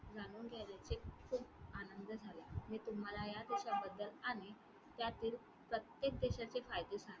जाणून घेण्याने खूप आनंद झाला मी तुम्हाला ह्या देशाबद्दल आणि त्यातील प्रत्येक देशाचे फायदे सांगते.